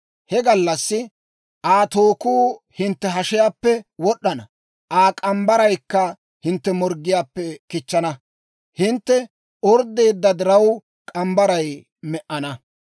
He gallassi, Aa tookku hintte hashiyaappe wod'd'ana; Aa k'ambbaraykka hintte morggiyaappe kichchana. Hintte orddeedda diraw, k'ambbaray me"ana.